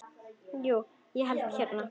Jú, ég hérna.